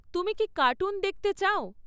তুমি কি কার্টুন দেখতে চাও?